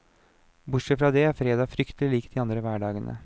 Bortsett fra det, er fredag fryktelig lik de andre hverdagene.